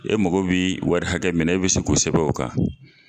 E mago bi wari hakɛ min na e bɛ se k'o sɛbɛn o kan.